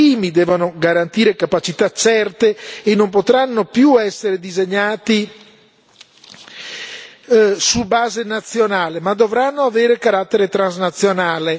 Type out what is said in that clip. I primi devono garantire capacità certe e non potranno più essere disegnati su base nazionale, ma dovranno avere carattere transnazionale.